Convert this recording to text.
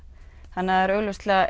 þannig að augljóslega